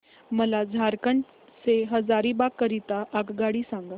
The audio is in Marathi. मला झारखंड से हजारीबाग करीता आगगाडी सांगा